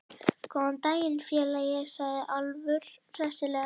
Góðan daginn, félagi, sagði Álfur hressilega.